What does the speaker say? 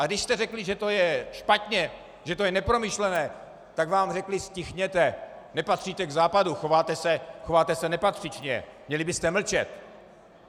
A když jste řekli, že to je špatně, že to je nepromyšlené, tak vám řekli: ztichněte, nepatříte k Západu, chováte se nepatřičně, měli byste mlčet.